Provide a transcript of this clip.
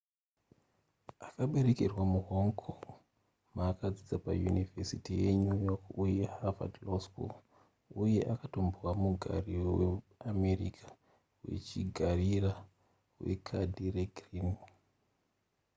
akaberekerwa muhonh kong ma akadzidza payunivhesiti yenew york uye harvad law school uye akatombova mugari weamerica wechigarire wekadhi regirini